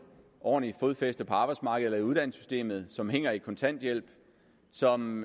ordentligt fodfæste på arbejdsmarkedet eller i uddannelsessystemet som hænger fast i kontanthjælp som